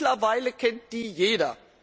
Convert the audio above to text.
Mittlerweile kennt die jeder.